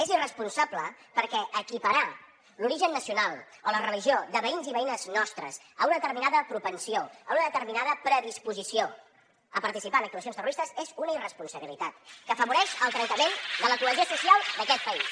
és irresponsable perquè equiparar l’origen nacional o la religió de veïns i veïnes nostres a una determinada propensió a una determinada predisposició a participar en actuacions terroristes és una irresponsabilitat que afavoreix el trencament de la cohesió social d’aquest país